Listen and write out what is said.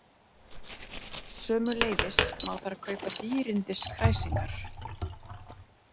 Sömuleiðis má þar kaupa dýrindis kræsingar